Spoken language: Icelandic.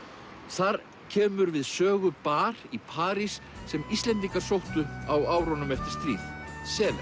þar kemur við sögu bar í París sem Íslendingar sóttu á árunum eftir stríð Select